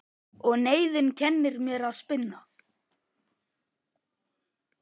Og neyðin kennir mér að spinna.